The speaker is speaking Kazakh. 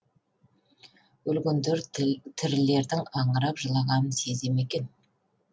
өлгендер тірілердің аңырап жылағанын сезе ме екен